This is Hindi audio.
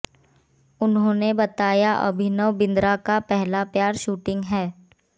उन्होंने बताया अभिनव बिंद्रा का पहला प्यार शूटिंग है